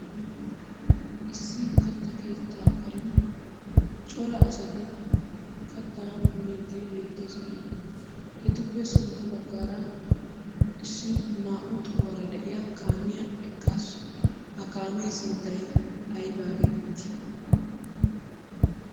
Issi katta keettaa karen cora asati kattaa miiddi beettoosona. Etuppe sintta baggaara issi naa"u tohuwara de'iya eqqaasu. Ha kaamiya sunttay aybaa geetettii?